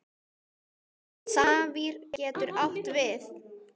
Safír getur átt við